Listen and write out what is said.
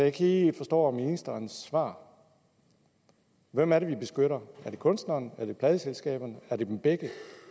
ikke lige forstår ministerens svar hvem er det vi beskytter er det kunstneren er det pladeselskaberne er det dem begge